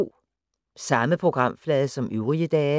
Samme programflade som øvrige dage